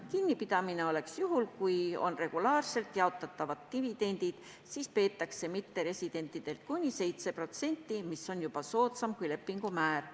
Kinnipidamine toimuks juhul, kui tegemist oleks regulaarselt jaotatavate dividendidega – siis peetakse mitteresidentidel kinni kuni 7%, mis on soodsam kui lepingumäär.